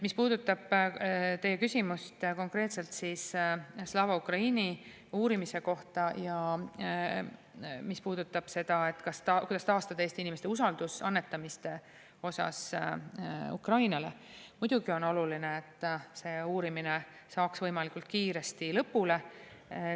Mis puudutab teie küsimust konkreetselt Slava Ukraini uurimise kohta ja seda, kuidas taastada Eesti inimeste usaldus Ukrainale annetamiste vastu, siis muidugi on oluline, et see uurimine saaks võimalikult kiiresti lõpule.